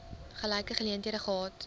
gelyke geleenthede gehad